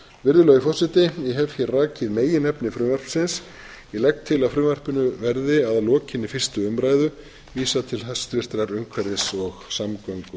virðulegi forseti ég hef hér rakið meginefni frumvarpsins ég legg til að frumvarpinu verði að lokinni fyrstu umræðu vísað til hæstvirtrar umhverfis og